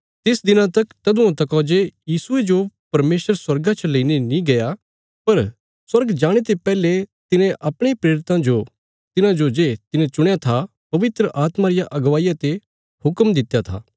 तिस दिना तक तदुआं तका जे यीशुये जो परमेशर स्वर्गा च लेईने नीं गया पर स्वर्ग जाणे ते पैहले तिने अपणे प्रेरितां जो तिन्हांजो जे तिने चुणया था पवित्र आत्मा रिया अगुवाईया ते हुक्म दित्या था